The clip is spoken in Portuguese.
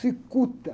Sicuta.